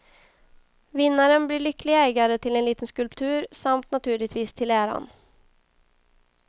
Vinnaren blir lycklig ägare till en liten skulptur, samt naturligtvis till äran.